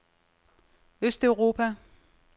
østeuropa